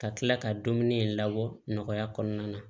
Ka tila ka dumuni in labɔ nɔgɔya kɔnɔna na